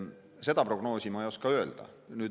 Seda prognoosi ma ei oska öelda.